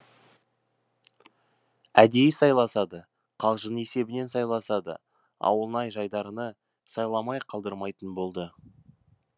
әдейі сайласа да қалжың есебінен сайласа да ауылнай жайдарыны сайламай қалдырмайтын болды